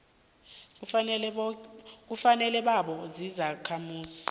kufanele babe zizakhamuzi